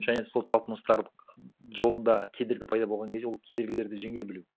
және сол талпыныстар жолында кедергі пайда болған кезде ол кедергілерді жеңе білу